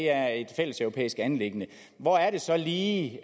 er et fælleseuropæisk anliggende hvor er det så lige